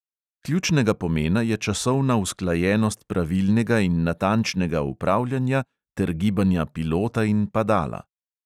Ključnega pomena je časovna usklajenost pravilnega in natančnega upravljanja ter gibanja pilota in padala.